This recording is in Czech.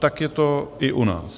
Tak je to i u nás.